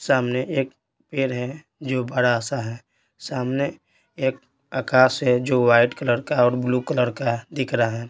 सामने एक पेड़ है जो बड़ा सा है सामने एक आकाश है जो वाइट कलर का और ब्लू कलर का दिख रहा है।